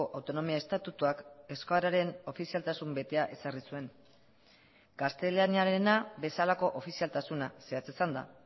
autonomia estatutuak euskararen ofizialtasun betea ezarri zuen gaztelaniarena bezalako ofizialtasuna zehatz esanda